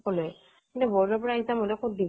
এনে boardৰ পৰা exam হলে কত দিব